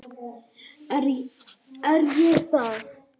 Er ég það?